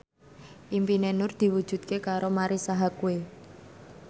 impine Nur diwujudke karo Marisa Haque